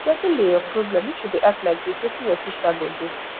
wetin be your problem if you dey act like dis wetin your sister go do